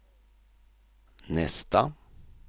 nästa